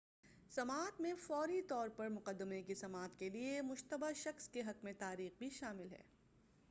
سماعت میں فوری طور پر مقدمے کی سماعت کے لئے مشتبہ شخص کے حق کی تاریخ بھی شامل ہے